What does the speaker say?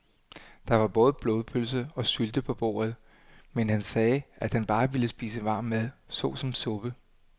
Der var både blodpølse og sylte på bordet, men han sagde, at han bare ville spise varm mad såsom suppe.